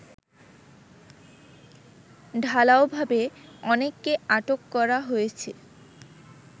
ঢালাওভাবে অনেককে আটক করা হয়েছে